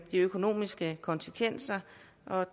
økonomiske konsekvenser